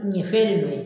Ɲɛfɛ de